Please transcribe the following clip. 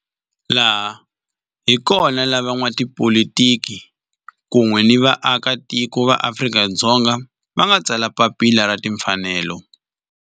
Laha hi kona la van'watipolitiki kun'we ni vaaka tiko va Afrika-Dzonga va nga tsala papila ra timfanelo, Freedom Charter.